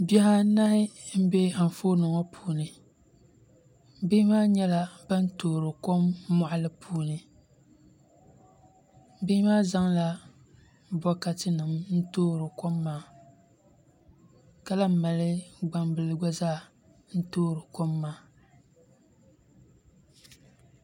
Bihi anahi n bɛ Anfooni ŋo puuni bihi maa nyɛla ban toori kom moɣali ŋo puuni bihi maa zaŋla bokati nim n toori kom maa ka lahi mali gbambili gba zaa n toori kom maa